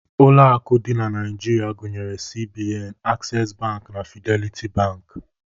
Ụlọ akụ dị na Naijiria gụnyere CBN, Aksesị Bankị na Fideliti Bankị.